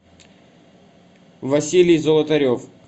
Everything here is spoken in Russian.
василий золотарев